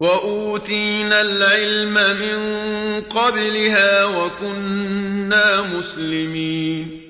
وَأُوتِينَا الْعِلْمَ مِن قَبْلِهَا وَكُنَّا مُسْلِمِينَ